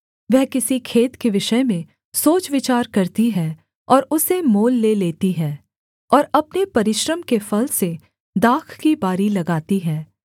वह किसी खेत के विषय में सोच विचार करती है और उसे मोल ले लेती है और अपने परिश्रम के फल से दाख की बारी लगाती है